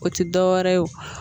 O tɛ dɔ wɛrɛ ye o